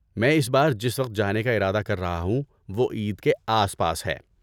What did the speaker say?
میں اس بار جس وقت جانے کا ارادہ کر رہا ہوں وہ عید کے آس پاس ہے۔